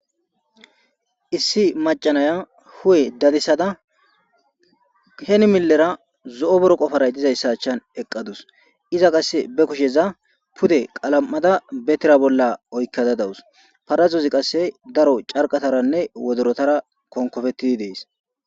Issi macca naya hu'e dadisada heni millera zo'o boroqo paray dizayssa achchan eqqadus ; iza qasse be kusheza pude qalam'ada be tira bolla oykada dawus; parazozi qasse daro carqataranne wodorotara konkopetidi de'es.